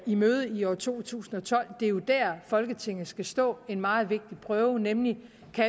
i møde i år to tusind og tolv det er jo der folketinget skal stå en meget vigtig prøve nemlig